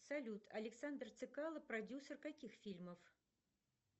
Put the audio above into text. салют александр цекало продюсер каких фильмов